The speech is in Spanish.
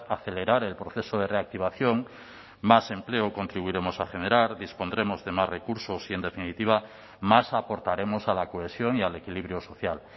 acelerar el proceso de reactivación más empleo contribuiremos a generar dispondremos de más recursos y en definitiva más aportaremos a la cohesión y al equilibrio social